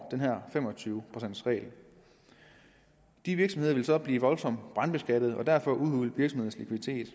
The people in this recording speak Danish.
af den her fem og tyve procents regel de virksomheder vil så blive voldsomt brandskattet og derfor udhules hvis en